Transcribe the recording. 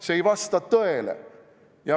See ei vasta tõele.